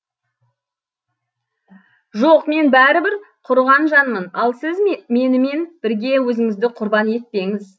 жоқ мен бәрібір құрыған жанмын ал сіз менімен бірге өзіңізді құрбан етпеңіз